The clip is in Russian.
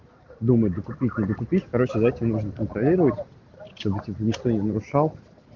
думайте докупить не докупить короче за этим нужно контролировать ничто не нарушал